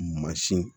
Mansin